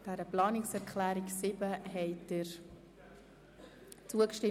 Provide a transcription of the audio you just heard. Sie haben der Planungserklärung 7 zugestimmt.